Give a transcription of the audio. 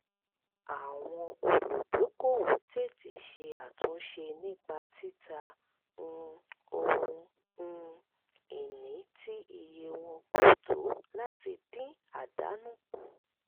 àwọn olùdókòwò tètè ṣe àtúnṣe nípa títa um ohun um ìní tí iye wọn kò tó láti dín àdánù kù